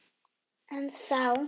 En þá!